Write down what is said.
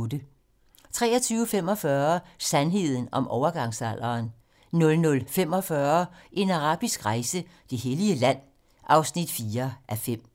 23:45: Sandheden om overgangsalderen 00:45: En arabisk rejse: Det hellige land (4:5)